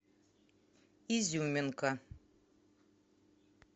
изюминка